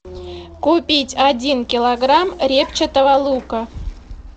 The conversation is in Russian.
купить один килограмм репчатого лука